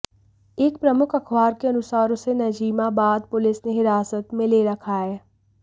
एक प्रमुख अखबार के अनुसार उसे नजीमाबाद पुलिस ने हिरासत में ले रखा है